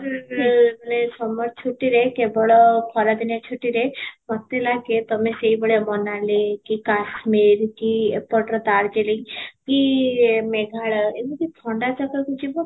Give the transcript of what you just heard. ହୁଁ ଏଇ summer ଛୁଟିରେ କେବଳ ଖରା ଦିନିଆ ଛୁଟିରେ ମୋତେ ଲାଗେ ତପମେ ସେଇ ଭଳିଆ ମୋନାଲୀ କି କାଶ୍ମୀର କି ଏପଟର darjeeling କି ମେଘାଳୟ ଏମିତି ଥଣ୍ଡା ଜାଗାକୁ ଜୀବ